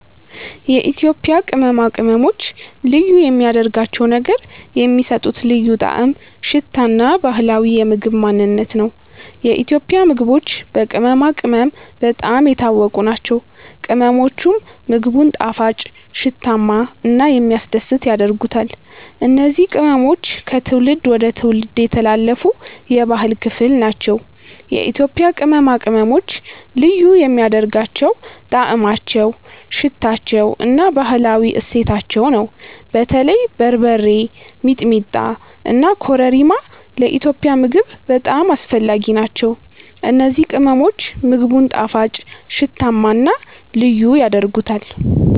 የኢትዮጵያ ቅመማ ቅመሞች ልዩ የሚያደርጋቸው ነገር የሚሰጡት ልዩ ጣዕም፣ ሽታ እና ባህላዊ የምግብ ማንነት ነው። የኢትዮጵያ ምግቦች በቅመማ ቅመም በጣም የታወቁ ናቸው፤ ቅመሞቹም ምግቡን ጣፋጭ፣ ሽታማ እና የሚያስደስት ያደርጉታል። እነዚህ ቅመሞች ከትውልድ ወደ ትውልድ የተላለፉ የባህል ክፍል ናቸው። የኢትዮጵያ ቅመማ ቅመሞች ልዩ የሚያደርጋቸው ጣዕማቸው፣ ሽታቸው እና ባህላዊ እሴታቸው ነው። በተለይ በርበሬ፣ ሚጥሚጣ እና ኮረሪማ ለኢትዮጵያዊ ምግብ በጣም አስፈላጊ ናቸው። እነዚህ ቅመሞች ምግቡን ጣፋጭ፣ ሽታማ እና ልዩ ያደርጉታል።